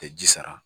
Tɛ ji sara